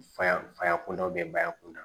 Fa faya kunda bɛ bayankun na